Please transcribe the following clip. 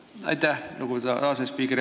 Aitäh, lugupeetud asespiiker!